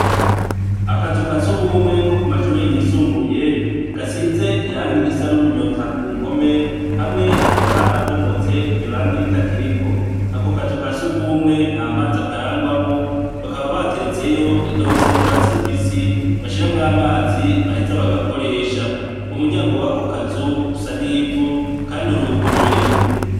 Akazu ka surwumwe ko ku mashure yisumbuye gasize irangi risa n'umunyota ku mpome, hamwe hakaba harabomotse iryo rangi ritakiriko. Ako kazu ka surwumwe ntamazi akarangwamwo, bakaba bateretseyo indobo isa n'urwatsi rubisi bashiramwo amazi baheza bagakoresha. Umuryango w'ako kazu usa n'ivu, kandi uruguruye.